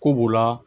Ko b'u la